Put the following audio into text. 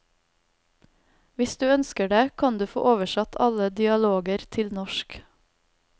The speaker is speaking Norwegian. Hvis du ønsker det, kan du få oversatt alle dialoger til norsk.